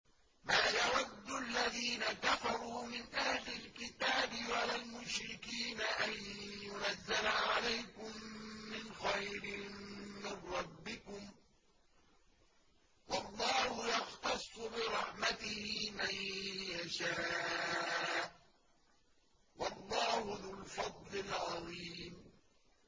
مَّا يَوَدُّ الَّذِينَ كَفَرُوا مِنْ أَهْلِ الْكِتَابِ وَلَا الْمُشْرِكِينَ أَن يُنَزَّلَ عَلَيْكُم مِّنْ خَيْرٍ مِّن رَّبِّكُمْ ۗ وَاللَّهُ يَخْتَصُّ بِرَحْمَتِهِ مَن يَشَاءُ ۚ وَاللَّهُ ذُو الْفَضْلِ الْعَظِيمِ